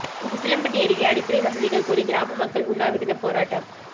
உசிலம்பட்டி அருகே அடிப்படை வசதிகள் கோரி கிராம மக்கள் உண்ணாவிரதப் போராட்டம்